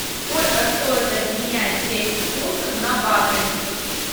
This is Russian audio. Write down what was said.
сколько стоит обменять двести фунтов на баты